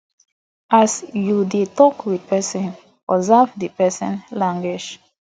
as you dey talk with person observe di person body language